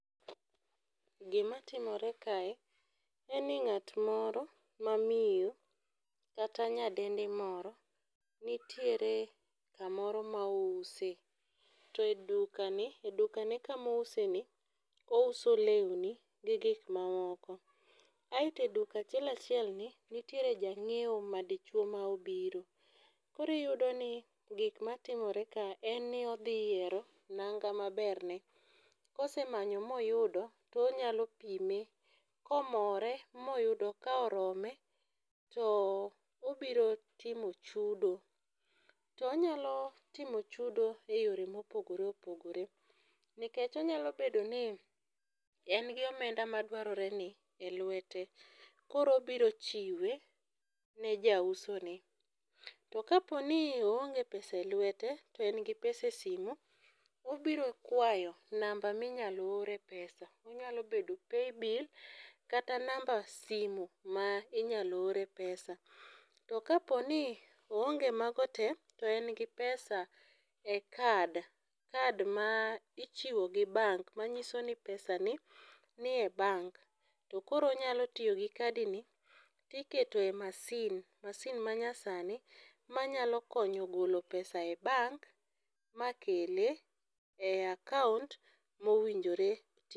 Gimatimore kae en ni ng'atmoro mamiyo kata nyadendi moro nitiere kamoro ma ouse to e dukane kamouseni ouso lewni gi gikmamoko. Aeto e duka achiel achielni nitiere jang'ieo madichuo ma obiro koro iyudo ni gikmatimore ka en ni odhi yiero nanga maberne kosemanyo moyudo tonyalo pime, komore moyudo ka orome to obiro timo chudo. To onyalo timo chudo e yore mopogore opogore nikech onyalo bedo ni en gi omenda madwaroreni e lwete koro obiro chiwe ne jausoni. To kaponi oonge pesa e lwete to en gi pesa e simu obiro kwayo namba minyalo ore pesa onyalo bedo paybill kata namba simu minyalo ore pesa. To kaponi oonge mago te to en gi pesa e kad, kad ma ichiwo gi bank manyiso ni pesani nie bank to koro onyalo tiyo gi kadini tiketoe masin masin manyasni manyalo konyo golo pesa e bank makele e akaont mowinjore.